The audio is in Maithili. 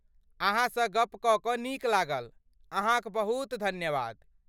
अहाँसँ गप्प कऽ कऽ नीक लागल! अहाँक बहुत धन्यवाद!